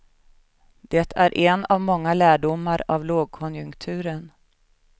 Det är en av många lärdomar av lågkonjunkturen.